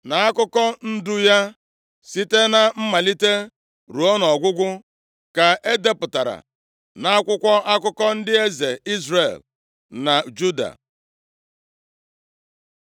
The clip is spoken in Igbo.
na akụkọ ndụ ya site na mmalite ruo nʼọgwụgwụ, ka e depụtara nʼakwụkwọ akụkọ ndị eze Izrel na Juda.